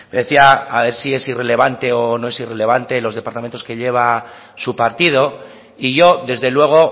decía a ver si el irrelevante o no es irrelevante los departamentos que lleva su partido y yo desde luego